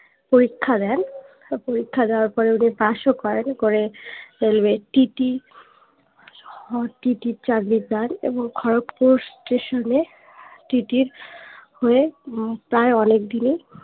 পরীক্ষা দেন পরীক্ষা দেয়ার পরে উনি পাস ও করেন করে railway টিটি আহ টিটির চাকরি চান এবং খড়্গপুর স্টেশনএ টিটির হয়ে হম প্ৰায়ে অনেকদিনেই